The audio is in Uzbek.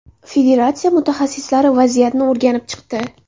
Federatsiya mutaxassislari vaziyatni o‘rganib chiqdi.